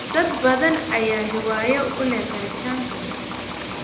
Dad badan ayaa hiwaayad u leh koritaanka dhirta.